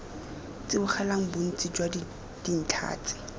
tsibogela bontsi jwa dintlha tse